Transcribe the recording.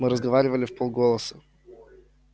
мы разговаривали вполголоса